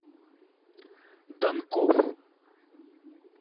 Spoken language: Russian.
данков